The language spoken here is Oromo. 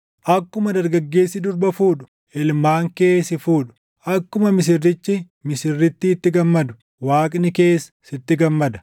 Akkuma dargaggeessi durba fuudhu, ilmaan kee si fuudhu; akkuma misirrichi misirrittiitti gammadu, Waaqni kees sitti gammada.